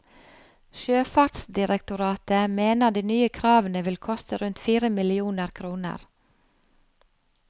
Sjøfartsdirektoratet mener de nye kravene vil koste rundt fire millioner kroner.